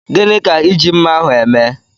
Gịnị ka iji mmá ahụ eme?